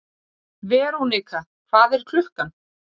Verónika, hvað er klukkan?